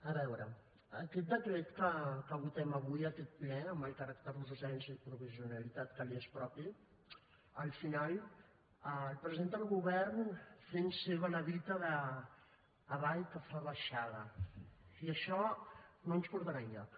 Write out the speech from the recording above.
a veure aquest decret que votem avui en aquest ple amb el caràcter d’urgència i provisionalitat que li és propi al final el presenta el govern fent seva la dita d’ avall que fa baixada i això no ens portarà enlloc